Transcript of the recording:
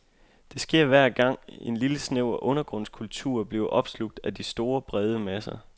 Det sker hver gang, en lille snæver undergrundskultur bliver opslugt af de store, brede masser.